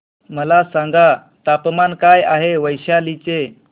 मला सांगा तापमान काय आहे वैशाली चे